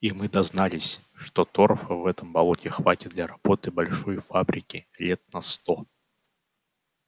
и мы дознались что торфа в этом болоте хватит для работы большой фабрики лет на сто